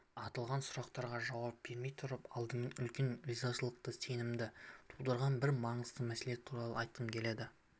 аталған сұрақтарға жауап бермей тұрып алдымен үлкен ризашылық сезімімді тудырған бір маңызды мәселе туралы айқым келеді